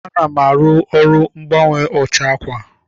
Ana m arụ ọrụ mgbanwe ụcha ákwà.